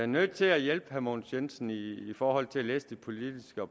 nødt til at hjælpe herre mogens jensen i forhold til at læse det politiske og